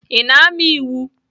Ị na-amụ iwu?